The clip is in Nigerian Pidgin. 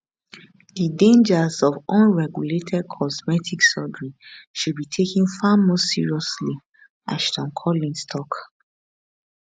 di dangers of unregulated cosmetic surgery should be taken far more seriously ashton collins tok